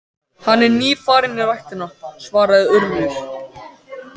Hann er nýfarinn í ræktina- svaraði Urður.